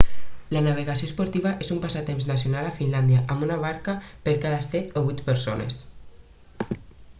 la navegació esportiva és un passatemps nacional a finlàndia amb una barca per cada 7 o 8 persones